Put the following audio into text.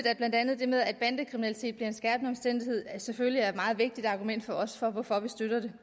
at blandt andet det med at bandekriminalitet bliver en skærpende omstændighed selvfølgelig er et meget vigtigt argument for os for at vi støtter det